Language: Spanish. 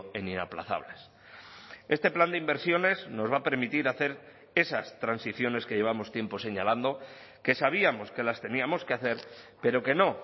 en inaplazables este plan de inversiones nos va a permitir hacer esas transiciones que llevamos tiempo señalando que sabíamos que las teníamos que hacer pero que no